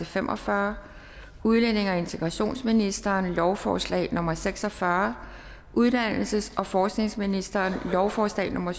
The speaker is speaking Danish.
fem og fyrre udlændinge og integrationsministeren lovforslag nummer l seks og fyrre uddannelses og forskningsministeren lovforslag nummer